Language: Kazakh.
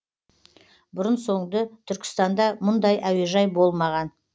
бұрын соңды түркістанда мұндай әуежай болмаған